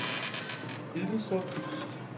Idestrup